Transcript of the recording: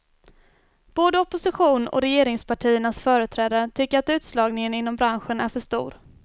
Både opposition och regeringspartiernas företrädare tycker att utslagningen inom branschen är för stor.